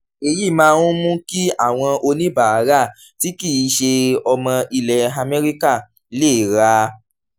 èyí máa ń mú kí àwọn oníbàárà tí kì í ṣe ọmọ ilẹ̀ amẹ́ríkà lè ra